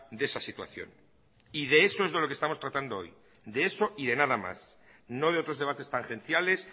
de esa situación y de eso es de lo que estamos tratando hoy de eso y de nada más no de otros debates tangenciales